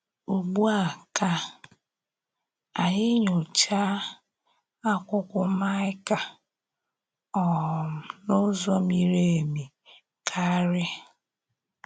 Ugbu à, ka ànyí nyòchàá àkwúkwó Maịka um n’ụ́zọ̀ mírì èmì kàrí.